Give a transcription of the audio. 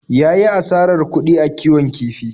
Ya yi asarar kuɗi a kiwon kifi.